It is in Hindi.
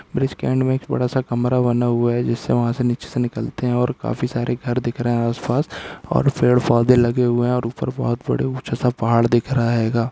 ब्रिज के एंड में एक बड़ा सा कमरा बना हूआ है जिससे वहाँ से नीचे से निकलते हैं और काफी सारे घर दिख रहा है आस पास और पेड़ पौधे लगे हुए हैं और ऊपर बहोत बड़े ऊँचा सा पहाड़ दिख रहा है। गा--